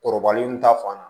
Kɔrɔbalen n ta fan na